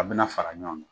A bɛna fara ɲɔgɔn kan